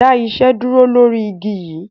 Dá iṣẹ́ dúró lọ̀rí igi yi!